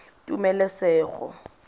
tumelesego